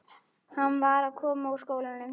Hann var að koma úr skólanum.